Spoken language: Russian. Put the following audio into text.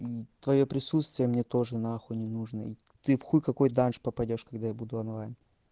и твоё присутствие мне тоже на хуй не нужна ты в хуй какой данж попадёшь когда я буду онлайн